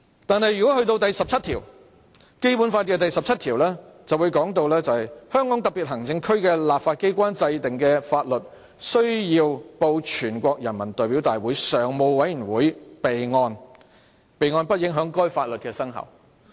但是，《基本法》第十七條訂明："香港特別行政區的立法機關制定的法律須報全國人民代表大會常務委員會備案，備案不影響該法律的生效。